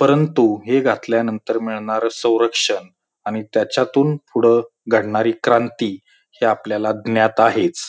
परंतु हे घातल्यानंतर मिळणार संरक्षण आणि त्याच्यातून पुढ घडणारी क्रांति ही आपल्याला ज्ञात आहेच